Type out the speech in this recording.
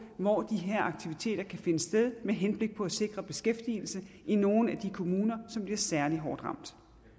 hvor de her aktiviteter kan finde sted med henblik på at sikre beskæftigelse i nogle af de kommuner som bliver særlig hårdt ramt